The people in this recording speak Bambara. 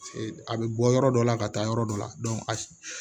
A bɛ bɔ yɔrɔ dɔ la ka taa yɔrɔ dɔ la a